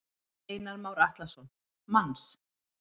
Einar Már Atlason: Manns?